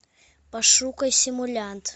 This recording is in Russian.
пошукай симулянт